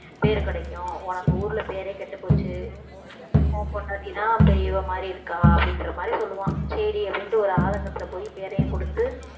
பேரு கிடைக்கும் உனக்கு ஊர்ல பேரே கெட்டுப்போச்சு உன் பொண்டாட்டி தான் பெரியவ மாறி இருக்கா அப்படின்ற மாறி சொல்லுவான் சரி அப்படின்னுட்டு ஒரு ஆதங்கத்துல போயி பெயரையும் கொடுத்து